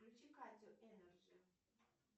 включи катю энерджи